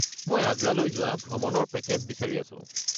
মই আগ্ৰালৈ যোৱা ভ্ৰমণৰ পেকেজ বিচাৰি আছো।